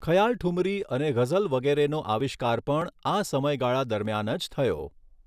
ખયાલઠુમરી અને ગઝલ વગેરેનો આવિષ્કાર પણ આ સમયગાળા દરમિયાન જ થયો.